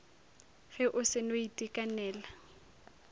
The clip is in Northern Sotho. ge o se no itekanela